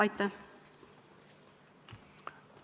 Aitäh!